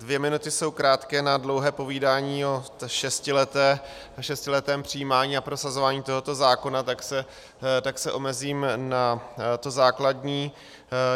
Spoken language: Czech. Dvě minuty jsou krátké na dlouhé povídání o šestiletém přijímání a prosazování tohoto zákona, tak se omezím na to základní.